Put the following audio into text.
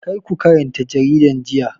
Karku karanta jaridan jiya.